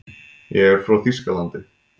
Ég er frá Þýskalandi.